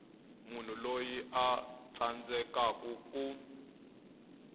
munhu loyi a tsandzekaku ku